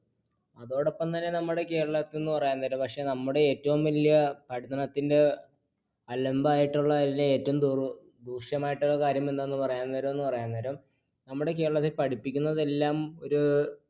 അതോടൊപ്പംതന്നെ നമ്മുടെ കേരളത്തിൽ എന്ന് പറയാൻ നേരം പക്ഷെ നമ്മുടെ ഏറ്റവും വലിയ ഭക്ഷണത്തിന്റെ അലമ്പായിട്ടുള്ളത്തിലെ ഏറ്റവും ദൂഷ്യമായിട്ടുള്ള കാര്യം എന്താന്ന് പറയാൻ നേരം പറയാൻ നേരം നമ്മുടെ കേരളത്തിൽ പഠിപ്പിക്കുന്നതെല്ലാം ഒരു